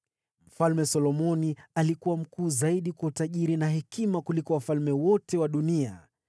Mfalme Solomoni alikuwa mkuu zaidi kwa utajiri na hekima kuliko wafalme wote wa dunia.